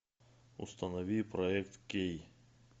установи проект кей